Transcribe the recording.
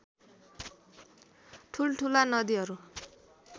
ठूलठूला नदीहरू